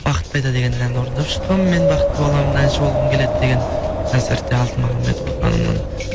бақыт қайда деген әнді орындап шыққанмын мен бақытты баламын әнші болғамы келеді деген концертте алтын махамбетова ханымның